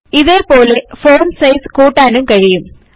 ഇതേപോലെ font size കൂട്ടാനും കഴിയും